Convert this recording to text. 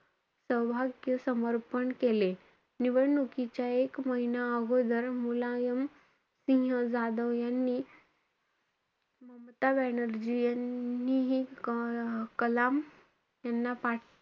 सौभाग्य समर्पण केले. निवडणुकीच्या एक महिना अगोदर मुलायम सिंह जाधव यांनी, ममता बॅनर्जी यांनीही क~ कलाम यांना पाठीं,